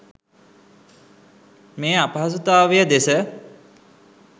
මේ අපහසුතාවය දෙස